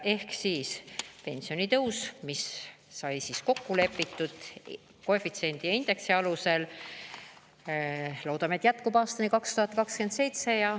Ehk siis: pensionitõus, mis sai kokku lepitud koefitsiendi ja indeksi alusel, loodame, et jätkub aastani 2027.